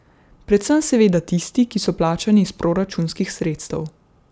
Predvsem seveda tisti, ki so plačani iz proračunskih sredstev.